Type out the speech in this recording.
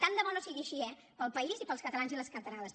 tant de bo no sigui així eh pel país i pels catalans i les catalanes